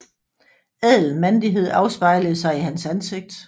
Ædel mandighed afspejlede sig i hans ansigt